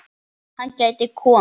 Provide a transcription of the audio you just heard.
Hann gæti komið